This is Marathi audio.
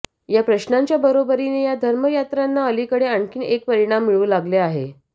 या प्रश्नांच्या बरोबरीने या धर्मयात्रांना अलीकडे आणखी एक परिमाण मिळू लागले आहे